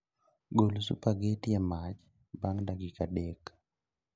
Gol supageti e mach bang' dakika adek